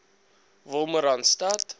wolmaranstad